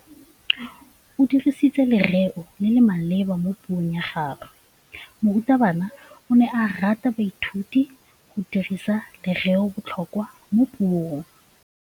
O dirisitse lerêo le le maleba mo puông ya gagwe. Morutabana o ne a ruta baithuti go dirisa lêrêôbotlhôkwa mo puong.